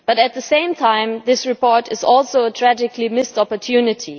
But, at the same time, this report is also a tragically missed opportunity.